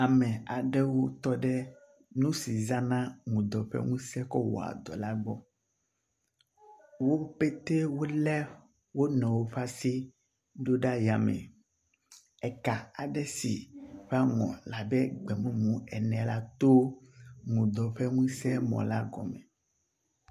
Ame aɖewo tɔ ɖe nu si zana ŋudɔ ƒe ŋuse kɔ wɔa dɔ la gbɔ. Wo pɛtɛ wo le wo nɔe ƒe asi ɖo ɖa yame. Eka aɖe si ƒe aŋɔ le abe gbemumu ene la to ŋudɔ ƒe ŋusemɔ la gɔme.